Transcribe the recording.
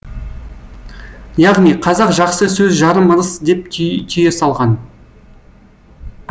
яғни қазақ жақсы сөз жарым ырыс деп түйе салған